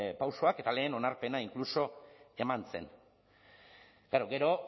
pausoak eta lehen onarpena inkluso eman zen klaro gero